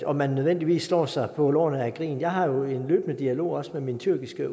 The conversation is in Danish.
om man nødvendigvis slår sig på lårene af grin jeg har jo en løbende dialog også med min tyrkiske